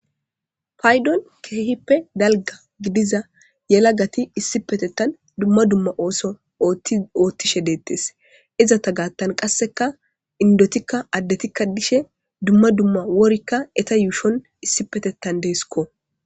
paydon keehippe dalga gidiza yelagati issi petettan dumma dumma ooso oottishe deettes iza ta gaattan qasseka indotikka addetikka dishe dumma dumma worikka eta yuushon issi petettan deeskko